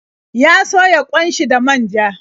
Ya soya ƙwan shi da manja.